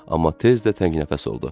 Amma tez də təngnəfəs oldu.